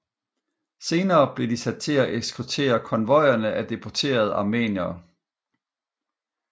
Senere blev de sat til at eskortere konvojerne af deporterede armeniere